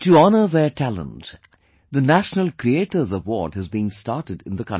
To honour their talent, the National Creators Award has been started in the country